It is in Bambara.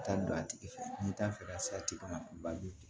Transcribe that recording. Taa don a tigi fɛ n'i t'a fɛ ka satigi ma bali